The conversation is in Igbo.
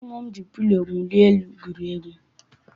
Ụmụ m ji pilo mwuli elu gwurie egwu.